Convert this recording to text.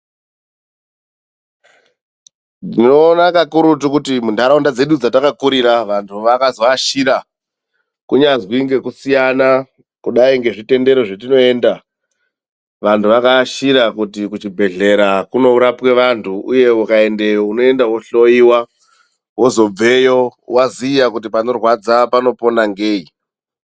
Ndinoona kakurutu kuti munharaunda dzedu dzetakakurira vanhu vakazoashira kunyazwi ngekusiyana kudai ngezvitendero zvetinoenda vanhu vakaashira kuti kuchibhedhlera kunorapwe vanhu, uye ukaendeyo unoenda wohloiwa wozobveyo waziya kuti panorwadza panopona ngei.